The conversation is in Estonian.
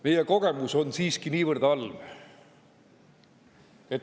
Meie kogemus on siiski niivõrd halb.